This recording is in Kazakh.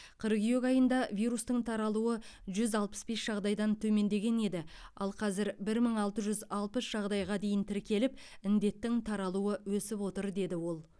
қыркүйек айында вирустың таралуы жүз алпыс бес жағдайдан төмендеген еді ал қазір бір мың алты жүз алпыс жағдайға дейін тіркеліп індеттің таралуы өсіп отыр деді ол